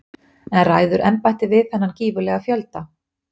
En ræður embættið við þennan gífurlega fjölda?